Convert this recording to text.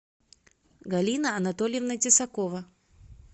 галина анатольевна тесакова